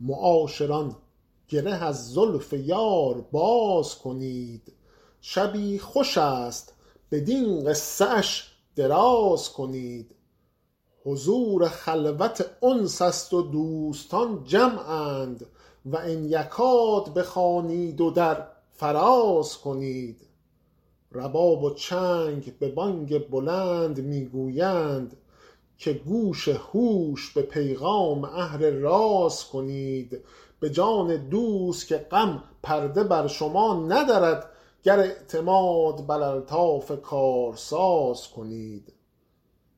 معاشران گره از زلف یار باز کنید شبی خوش است بدین قصه اش دراز کنید حضور خلوت انس است و دوستان جمعند و ان یکاد بخوانید و در فراز کنید رباب و چنگ به بانگ بلند می گویند که گوش هوش به پیغام اهل راز کنید به جان دوست که غم پرده بر شما ندرد گر اعتماد بر الطاف کارساز کنید